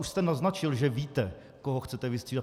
Už jste naznačil, že víte, koho chcete vystřídat.